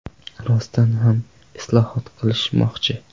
Rostdan ham islohot qilishmoqchi.